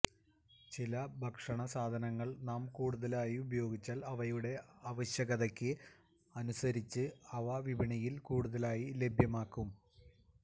ചില ഭക്ഷണ സാധനങ്ങൾ നാം കൂടുതലായി ഉപയോഗിച്ചാൽ അവയുടെ ആവശ്യകതയ്ക്ക് അനുസരിച്ച് അവ വിപണിയിൽ കൂടുതലായി ലഭ്യമാകും